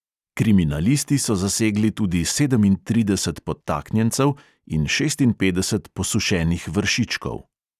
Kriminalisti so zasegli tudi sedemintrideset podtaknjencev in šestinpetdeset posušenih vršičkov.